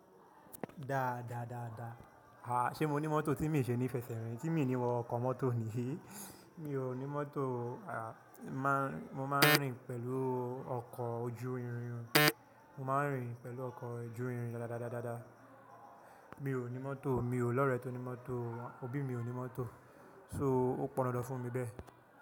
Da, da, da, da. A, ṣe mo ní mọ́tò tí mi ṣe ní fẹsẹ̀ rìn, tí mi ní wo ọkọ̀ mọ́tò ni? Mi ò ní mọ́tò o. A, ń máa ń, mo máa ń rìn pẹ̀lú ọkọ̀ ojú irin. Mo máa ń rìn pẹ̀lú ọkọ̀ ojú irin dá, dá, dá, dá, dá, dá. Mi ò ní mọ́tò, mi ò lọ̀rẹ tó ní mọ́tò. Òbí mi ò ní mọ́tò, so ó pọn dandan fún mi bẹ́ẹ̀.